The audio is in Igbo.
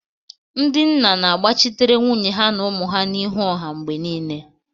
Ndị nna na-agbachitere nwunye ha na ụmụ ha n'ihu ọha mgbe niile